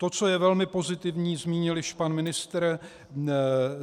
To, co je velmi pozitivní, zmínil již pan ministr.